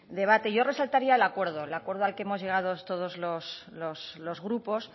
debate yo resaltaría el acuerdo el acuerdo al que hemos llegado todos los grupos